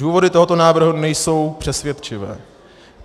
Důvody tohoto návrhu nejsou přesvědčivé.